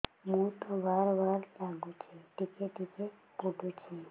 ମୁତ ବାର୍ ବାର୍ ଲାଗୁଚି ଟିକେ ଟିକେ ପୁଡୁଚି